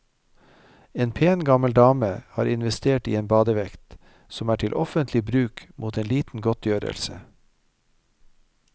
En pen gammel dame har investert i en badevekt, som er til offentlig bruk mot en liten godtgjørelse.